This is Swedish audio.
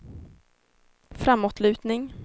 framåtlutning